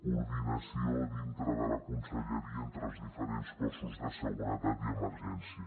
coordinació dintre de la conselleria entre els diferents cossos de seguretat i emergència